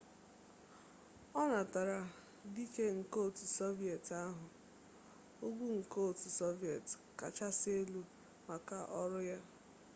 ọ natara dike nke otu soviet ahụ ugwu nke otu soviet kachasị elu maka ọrụ ya